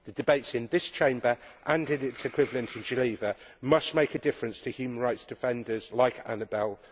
The debates in this Chamber and in its equivalent in Geneva must make a difference to human rights defenders like Anabel.